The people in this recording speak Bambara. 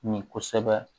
Min kosɛbɛ